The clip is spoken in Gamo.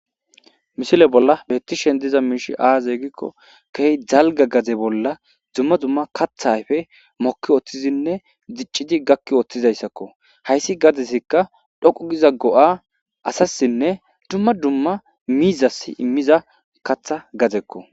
Misile bolla be'ettishe dizza miishshi haa zegikko, keehi dalgga gade bolla dumma dumma katha ayife, mokki uttidinne diccidi gakki uttida . Haysi gadessikka tsoqqu giza go'aa asassinne, dumma dumma miizassi immiza katha gadeko.